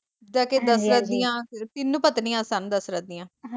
ਤਿੰਨ ਪਤਨੀਆਂ ਸਨ ਦਸ਼ਰਤ ਦੀਆਂ